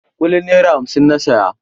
Kulin naira hamsin na saya.